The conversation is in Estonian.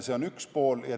See on üks pool.